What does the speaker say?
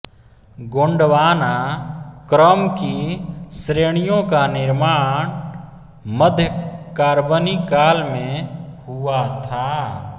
गोंडवाना क्रम की श्रेणियों का निर्माण मध्य कार्बनी काल मे हुआ था